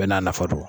Bɛɛ n'a nafa don